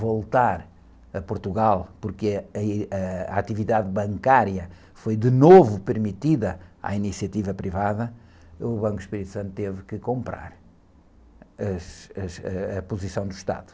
voltar a Portugal porque aí, a atividade bancária foi de novo permitida à iniciativa privada, o Banco do Espírito Santo teve que comprar as, as, ãh, a posição do Estado.